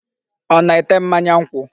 Ọ na-ete mmanya nkwụ?